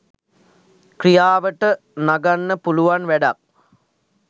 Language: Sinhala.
ක්‍රියාවට නඟන්න පුළුවන් වැඩක්.